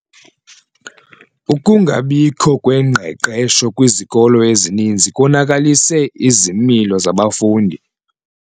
Ukungabikho kwengqeqesho kwizikolo ezininzi konakalise izimilo zabafundi.